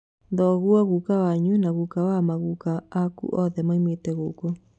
" Thoguo, gũka wanyu na guka wa maguka aku othe maumĩte gũkũ.